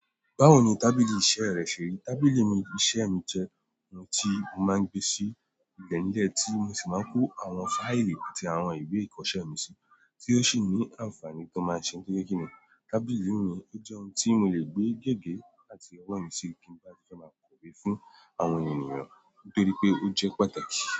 Báwo ni tábìlì iṣẹ́ rẹ ṣe rí? Tábìlì iṣẹ́ mi jẹ́ n tí mo máa ń gbé sí ilẹ̀ nílẹ̀, tí mo sì máa ń kó àwọn fáìlì àti àwọn ìwé ìkọṣẹ́ mi sí, tí ó sì ní àǹfààní tó máa ṣe. Torí pe kìní, tábìlì mi o jẹ́ n tí mo lè gbé gègé àti ọwọ́ mi sí bí mo bá ti fẹ́ máa kọ̀wé fún àwọn ènìyàn, nítorí pé ó jẹ́ pàtàkì.